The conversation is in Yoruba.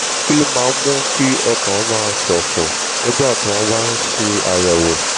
kí ló máa ń mú kí ọkàn máa ṣòfò nígbà tí wọ́n bá ń ṣe àyẹ̀wò?